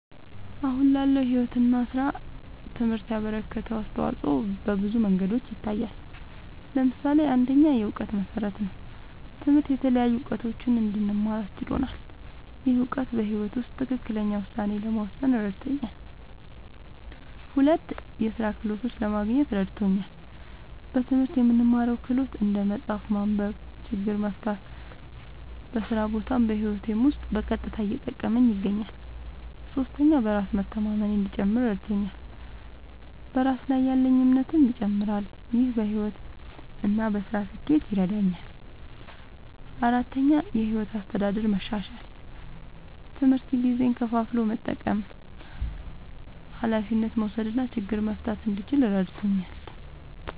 አሁን ላለው ሕይወት እና ሥራ ትምህርት ያበረከተው አስተዋጾ በብዙ መንገዶች ይታያል። ምሳሌ ፩, የእውቀት መሠረት ነዉ። ትምህርት የተለያዩ እዉቀቶችን እንድማር አስችሎኛል። ይህ እውቀት በሕይወት ውስጥ ትክክለኛ ውሳኔ ለመወሰን እረድቶኛል። ፪, የሥራ ክህሎት ለማግኘት እረድቶኛል። በትምህርት የምንማረው ክህሎት (እንደ መጻፍ፣ ማንበብ፣ ችግር መፍታ) በስራ ቦታም በህይወቴም ዉስጥ በቀጥታ እየጠቀመኝ ይገኛል። ፫. በራስ መተማመኔ እንዲጨምር እረድቶኛል። በራስ ላይ ያለኝ እምነትም ይጨምራል። ይህ በሕይወት እና በሥራ ስኬት ይረዳኛል። ፬,. የሕይወት አስተዳደር መሻሻል፦ ትምህርት ጊዜን ከፋፍሎ መጠቀም፣ ኃላፊነት መውሰድ እና ችግር መፍታት እንድችል እረድቶኛል።